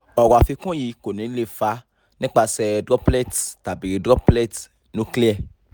ọ̀rọ̀ afikun yii ko ni le fa nipasẹ droplets tabi droplet nuclei